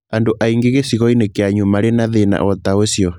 andũ aingĩ gĩcigo-inĩ kĩanyu marĩ na thĩna o ta ũcio